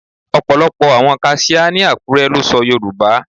Ọ̀pọ̀lọ́pọ̀ àwọn kaṣíá ní Àkúré lè sọ Yorùbá.